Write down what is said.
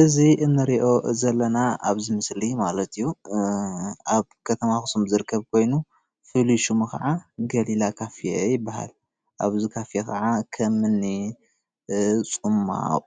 እዚ እንሪኦ ዘለና ኣብዚ ምስሊ ማለት እዩ ኣብ ከተማ ኣክሱም ዝርከብ ኮይኑ ፍሉይ ሽሙ ከዓ ገሊላ ካፌ ይባሃል፣ ኣብዚ ካፌ ከዓ ከምኒ ፅማቅ፣